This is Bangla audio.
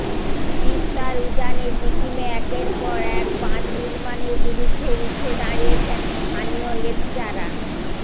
তিস্তার উজানে সিকিমে একের পর এক বাঁধ নির্মাণের বিরুদ্ধে রুখে দাঁড়িয়েছেন স্থানীয় লেপচারা